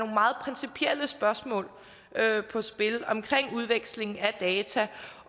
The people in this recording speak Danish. meget principielle spørgsmål på spil omkring udveksling af data